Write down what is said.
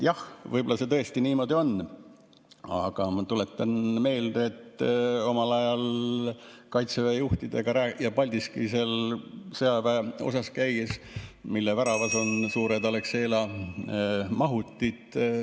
Jah, võib-olla see tõesti niimoodi on, aga ma tuletan meelde, et kui ma omal ajal Kaitseväe juhtidega Paldiski sõjaväeosas käisin, siis nägin, et selle väravas on suured Alexela mahutid.